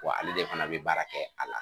Wa ale de fana be baara kɛ a la.